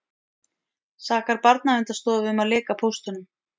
Sakar Barnaverndarstofu um að leka póstunum